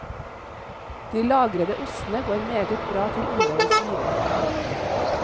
De lagrede ostene går meget bra til områdets viner.